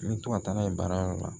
N bɛ to ka taa n'a ye baarayɔrɔ la